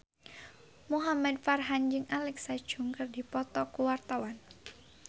Muhamad Farhan jeung Alexa Chung keur dipoto ku wartawan